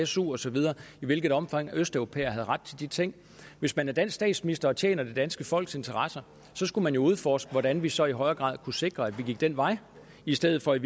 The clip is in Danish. su og så videre i hvilket omfang østeuropæere havde ret til de ting hvis man er dansk statsminister og tjener det danske folks interesser skulle man jo udforske hvordan vi så i højere grad kunne sikre at vi gik den vej i stedet for i